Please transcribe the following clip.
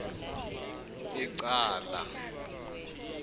ecala